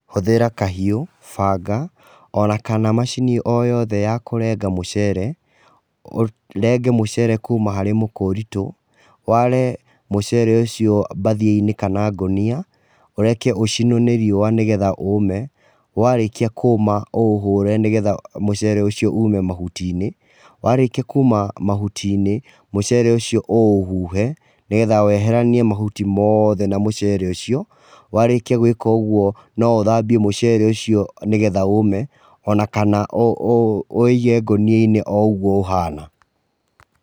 Hũthĩra kahiũ, banga, ona kana macini o yothe ya kũrenga mũcere, ũrenge mũcere kuuma harĩ mũkũrito, ware mũcere ũcio mbathia-inĩ kana ngũnia, ũreke ũcinwo nĩ riũa nĩ getha ũũme, warĩkia kũma ũũhũre nĩ getha mũcere ũcio uume mahuti-inĩ. Warĩkia kuuma mahuti-inĩ, mũcere ũcio ũũhuhe, nĩ getha weheranie mahuti mothe na mũcere ũcio, warĩkia gwĩka ũguo no ũthambie mũcere ũcio nĩ getha ũme ona kana ũwĩige ngũnia-inĩ oo ũguo ũhana.